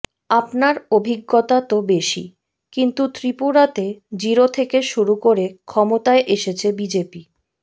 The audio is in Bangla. আপনার অভিজ্ঞতা তো বেশি কিন্তু ত্রিপুরাতে জিরো থেকে শুরু করে ক্ষমতায় এসেছে বিজেপি